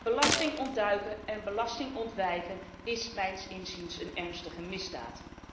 Belasting ontduiken en belasting ontwijken is mijns inziens een ernstige misdaad.